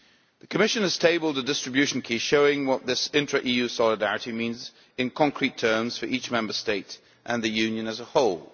The Commission has tabled a distribution key showing what this intra EU solidarity means in concrete terms for each Member State and the Union as a whole.